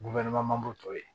tɔ to yen